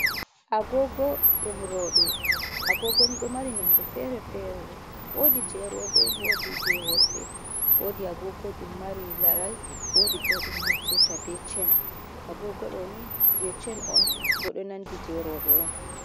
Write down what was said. Agogo ndum rowɓe. Agogoni ɗo mari nonde fere fere, wodi je rewbe wodi je worɓe. Wodi agogo ɗum mari laral, wodi je naftirta be chen. Agogo ɗoni je chen on bo ɗo nandi je rewbe on.